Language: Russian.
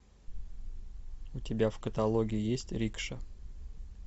у тебя в каталоге есть рикша